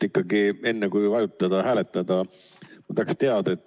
Ikkagi enne kui nupule vajutada, hääletada, tahaks teada.